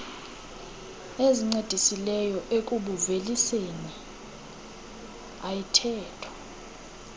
ezincedisileyo ekubuuveliseni ayithethwa